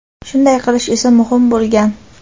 shunday qilish esa muhim bo‘lgan.